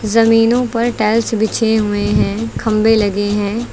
जमीनों पर टाइल्स बिछे हुए हैं खंभे लगे हैं।